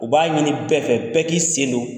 U b'a ɲini bɛɛ fɛ bɛɛ k'i sen don